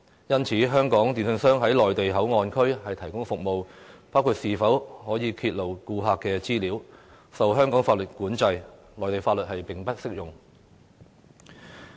因此，在內地口岸區提供服務的香港電訊商可否披露顧客資料的問題，受香港法律規管，內地法律並不適用。